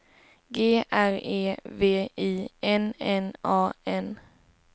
G R E V I N N A N